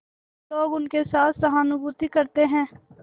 तो लोग उनके साथ सहानुभूति करते हैं